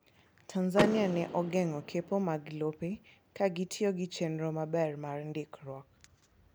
Tanzania ne ogeng'o kepo mag lope ka gitiyo gi chenro maber mar ndikruok..